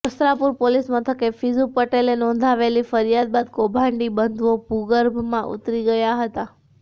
Vastrapur police મથકે ફિઝુ પટેલે નોંધાવેલી ફરિયાદ બાદ કૌભાંડી બંધુઓ ભૂર્ગભમાં ઉતરી ગયા હતા